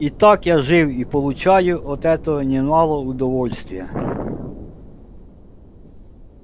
итак я жив и получаю от этого немало удовольствия